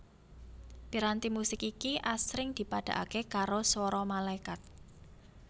Piranti musik iki asring dipadhakaké karo swara malaikat